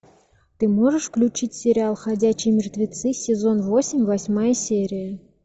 ты можешь включить сериал ходячие мертвецы сезон восемь восьмая серия